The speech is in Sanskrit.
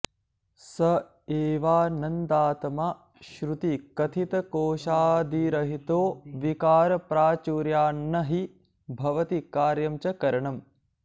स एवानन्दात्मा श्रुतिकथितकोशादिरहितो विकारप्राचुर्यान्न हि भवति कार्यं च करणम्